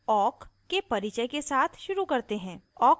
अब awk के परिचय के साथ शुरू करते हैं